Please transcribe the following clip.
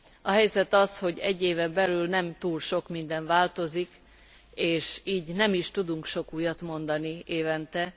A helyzet az, hogy egy éven belül nem túl sok minden változik, és így nem is tudunk sok újat mondani évente.